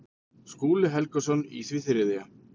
Skúli Helgason í því þriðja.